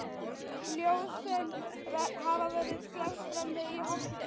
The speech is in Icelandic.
Ljósin hafa verið slökkt frammi í holi.